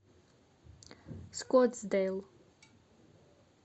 скоттсдейл